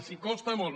els costa molt